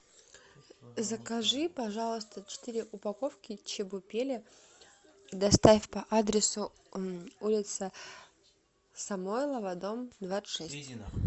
закажи пожалуйста четыре упаковки чебупели доставь по адресу улица самойлова дом двадцать шесть